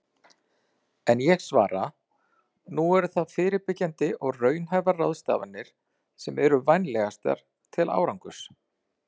En ég svara: Nú eru það fyrirbyggjandi og raunhæfar ráðstafanir sem eru vænlegastar til árangurs.